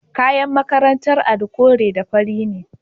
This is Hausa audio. Kayan makarantar Ali kore da fari ne.